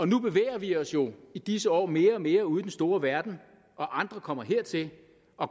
nu bevæger vi os jo i disse år mere og mere ud i den store verden og andre kommer hertil